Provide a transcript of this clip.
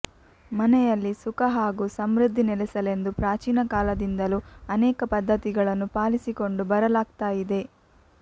ಮನೆಯಲ್ಲಿ ಸುಖ ಹಾಗೂ ಸಮೃದ್ಧಿ ನೆಲೆಸಲೆಂದು ಪ್ರಾಚೀನ ಕಾಲದಿಂದಲೂ ಅನೇಕ ಪದ್ಧತಿಗಳನ್ನು ಪಾಲಿಸಿಕೊಂಡು ಬರಲಾಗ್ತಾ ಇದೆ